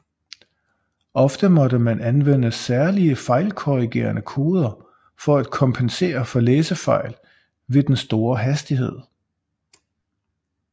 Ofte måtte man anvende særlige fejlkorrigerende koder for at kompensere for læsefejl ved den store hastighed